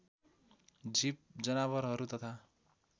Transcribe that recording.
जीव जनावरहरू तथा